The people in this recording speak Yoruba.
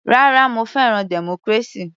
Rárá, mo fẹ́ràn democracy.